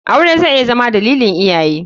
Aure zai iya Zama dalilin iyaye.